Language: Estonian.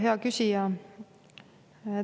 Hea küsija!